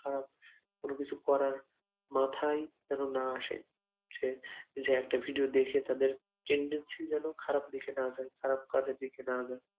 খারাপ কোন কিছু করার মাথাই যেন একটা ভিডিও দেখে তাদের tendency যেন খারাপ দিকে না যায় খারাপ কাজের দিকে না যায়